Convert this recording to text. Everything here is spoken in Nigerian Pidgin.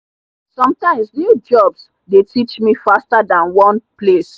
sometimes new jobs dey teach me faster than one place